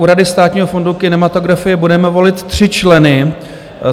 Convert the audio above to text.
U Rady Státního fondu kinematografie budeme volit tři členy.